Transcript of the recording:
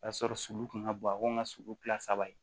O y'a sɔrɔ sulu kun ka bon a ko ka sulu kila saba ye